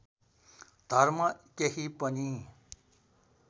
धर्म केही पनि